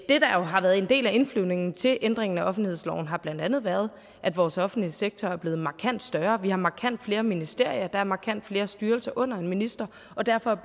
det der jo har været en del af indflyvningen til ændringen af offentlighedsloven har blandt andet været at vores offentlige sektor er blevet markant større vi har markant flere ministerier og er markant flere styrelser under en minister og derfor